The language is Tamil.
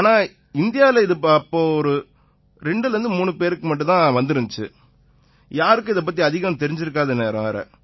ஏன்னா இந்தியாவுல இது அப்ப 23 பேர்களுக்குத் தான் வந்திருந்திச்சு யாருக்கும் இதுபத்தி அதிகம் தெரிஞ்சிருக்காத நேரம்